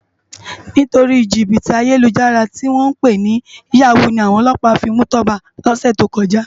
Nitóri jibiti àyélújàrá tiwòn pé ni yàwú ni áwòn òlòpá fi mú Toba lòsé tókòjá